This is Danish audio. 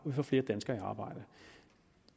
vi får flere danskere i arbejde